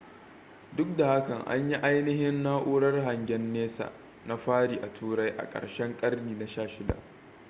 duk da haka an yi ainihin na'urar hangen nesa na fari a turai a karshen karni na 16